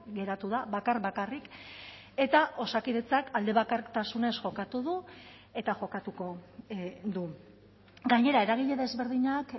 geratu da bakar bakarrik eta osakidetzak aldebakartasunez jokatu du eta jokatuko du gainera eragile desberdinak